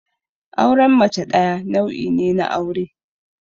Auren mace ɗaya nau'i ne na aure.